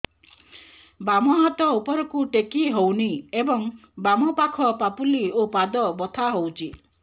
ବାମ ହାତ ଉପରକୁ ଟେକି ହଉନି ଏବଂ ବାମ ପାଖ ପାପୁଲି ଓ ପାଦ ବଥା ହଉଚି